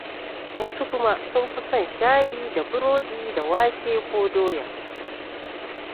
Wasu kuma sun fi son shayi da burodi da wake ko doya.